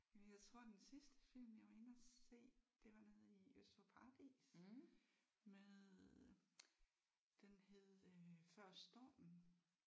Jamen jeg tror den sidste film jeg var inde at se det var nede i Øst for Paradis med øh den hed øh Før stormen